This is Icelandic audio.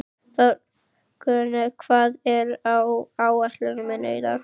Þórgunna, hvað er á áætluninni minni í dag?